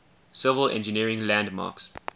civil engineering landmarks